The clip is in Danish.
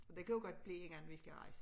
Det kan jo godt blive inden vi skal rejse